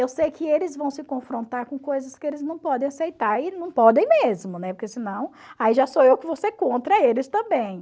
Eu sei que eles vão se confrontar com coisas que eles não podem aceitar, e não podem mesmo, né, porque senão, aí já sou eu que vou ser contra eles também.